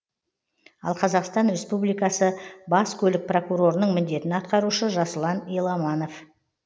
ал қазақстан республикасы бас көлік прокурорының міндетін атқарушы жасұлан еламанов